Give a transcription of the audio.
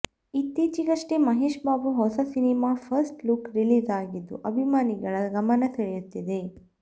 ಇತ್ತೀಚಿಗಷ್ಟೆ ಮಹೇಶ್ ಬಾಬು ಹೊಸ ಸಿನಿಮಾದ first look release ಆಗಿದ್ದು ಅಭಿಮಾನಿಗಳ ಗಮನ ಸೆಳೆಯುತ್ತಿದೆ